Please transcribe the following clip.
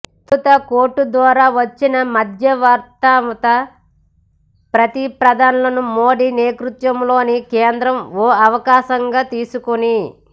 తొలుత కోర్టు ద్వారా వచ్చిన మధ్యవర్తిత్వ ప్రతిపాదనలను మోదీ నేతృత్వంలోని కేంద్రం ఓ అవకాశంగా తీసుకుని